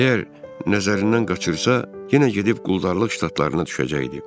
Əgər nəzərindən qaçırsa, yenə gedib quldarlıq ştatlarına düşəcəkdi.